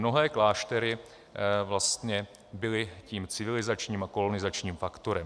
Mnohé kláštery byly tím civilizačním a kolonizačním faktorem.